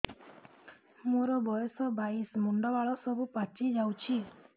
ମୋର ବୟସ ବାଇଶି ମୁଣ୍ଡ ବାଳ ସବୁ ପାଛି ଯାଉଛି